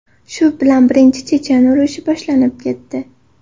Shu bilan Birinchi chechen urushi boshlanib ketdi.